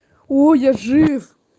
о я жив